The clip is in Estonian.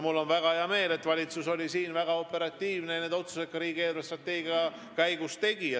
Mul on väga hea meel, et valitsus on olnud väga operatiivne ja need otsused riigi eelarvestrateegia arutelu käigus ka teinud.